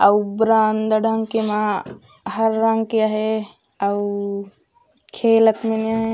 अउ बरामदा डाहन के म हर रंग के आहे अउ खेल अपने--